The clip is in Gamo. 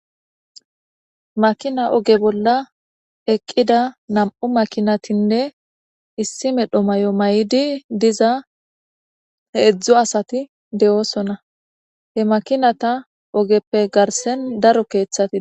makina oge bolla eqqida nam7u makinatinne issi medho may7o may7idi diza heedzdzo asati de7oosona he makinata ogeppe garsen daro keeththati